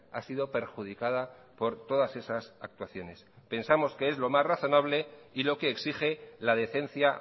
ha sido perjudicada por todas esas actuaciones pensamos que es lo más razonable y lo que exige la decencia